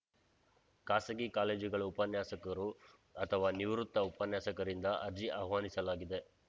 ಖಾಸಗಿ ಕಾಲೇಜುಗಳ ಉಪನ್ಯಾಸಕರು ಅಥವಾ ನಿವೃತ್ತ ಉಪನ್ಯಾಸಕರಿಂದ ಅರ್ಜಿ ಆಹ್ವಾನಿಸಲಾಗಿದೆ